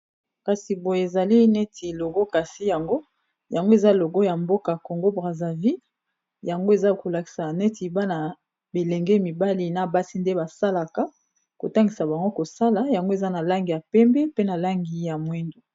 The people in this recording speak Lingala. Kasi boyo ezali neti logo kasi yango, yango eza logo ya mboka congo Brazzaville yango eza kolakisa neti bana bilenge mibali na basi nde basalaka kotangisa bango kosala yango eza na langi ya pembe pe na langi ya mwindo